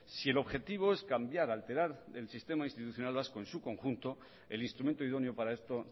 si el objetivo es cambiar alterar el sistema institucional vasco en su conjunto el instrumento idóneo para esto